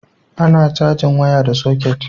a na cajin waya ta soket